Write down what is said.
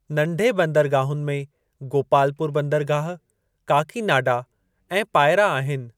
नंढे बंदरगाहुनि में गोपालपुर बंदरगाह, काकीनाडा ऐं पायरा आहिनि।